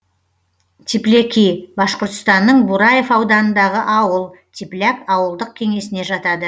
тепляки башқұртстанның бураев ауданындағы ауыл тепляк ауылдық кеңесіне жатады